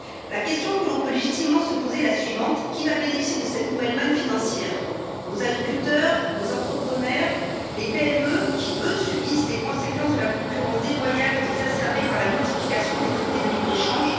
La question que l'on peut légitimement se poser est la suivante qui va bénéficier de cette nouvelle manne financière nos agriculteurs, nos entrepreneurs, les PME qui, eux, subissent les conséquences de la concurrence déloyale exacerbée par la multiplication des traités de libre échange?